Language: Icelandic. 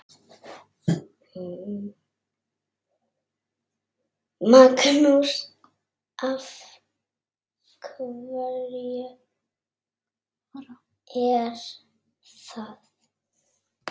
Magnús: Af hverju er það?